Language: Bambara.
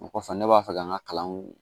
O kɔfɛ ne b'a fɛ ka n ka kalanw